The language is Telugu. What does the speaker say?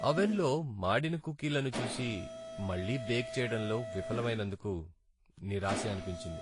అవన్ లో మాడిన కుకీలను చూసి, మళ్ళీ బేక్ చేయడంలో విఫలమైనందుకు నిరాశ అనిపించింది.